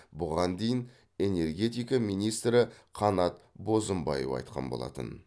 бұған дейін энергетика министрі қанат бозымбаев айтқан болатын